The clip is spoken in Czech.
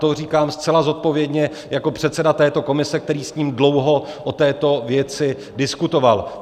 To říkám zcela zodpovědně jako předseda této komise, který s ním dlouho o této věci diskutoval.